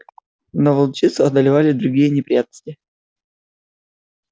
но волчицу одолевали другие неприятности